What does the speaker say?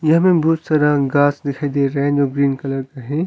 यहां में बहुत सारा गास दिखाई दे रहा है जो ग्रीन कलर का है।